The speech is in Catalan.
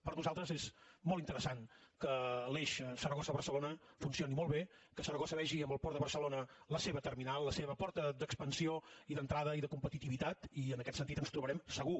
per nosaltres és molt interessant que l’eix saragossa barcelona funcioni molt bé que saragossa vegi en el port de barcelona la seva terminal la seva porta d’expansió i d’entrada i de competitivitat i en aquest sentit ens trobarem segur